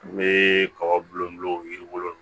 N bɛ kaba bulu dɔ yiri bulu